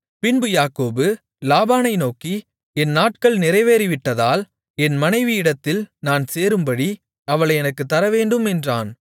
பின்பு யாக்கோபு லாபானை நோக்கி என் நாட்கள் நிறைவேறிவிட்டதால் என் மனைவியிடத்தில் நான் சேரும்படி அவளை எனக்குத் தரவேண்டும் என்றான்